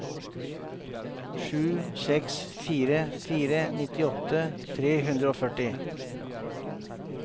sju seks fire fire nittiåtte tre hundre og førti